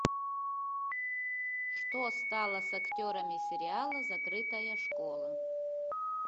что стало с актерами сериала закрытая школа